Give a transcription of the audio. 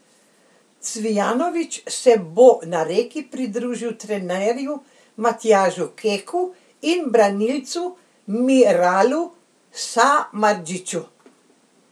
Cvijanović se bo na Reki pridružil trenerju Matjažu Keku in branilcu Miralu Samardžiću.